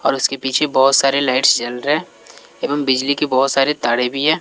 और उसके पीछे बहोत सारे लाइट्स जल रहे है। एवम बिजली की बहोत सारे तारे भी है।